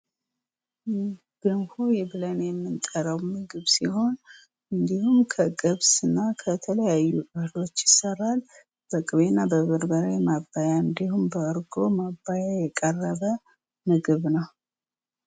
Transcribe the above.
ገንፎ ብለን የምንጠራው የምግብ ሲሆን ይህ ከገብስና ከተለያዩ እህሎች ይሰራል። በቅቤና በበርበሬ መባያ እንድሁም እርጎ መባያ የቀረበ ምግብ ነው።